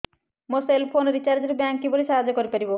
ମୋ cell phone recharge ରେ bank କିପରି ସାହାଯ୍ୟ କରିପାରିବ